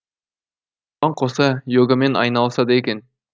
оған қоса йогамен айналысады екен